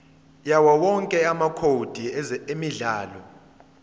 yawowonke amacode emidlalo